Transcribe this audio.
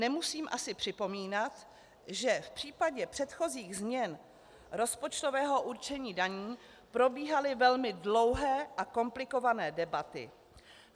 Nemusím asi připomínat, že v případě předchozích změn rozpočtového určení daní probíhaly velmi dlouhé a komplikované debaty.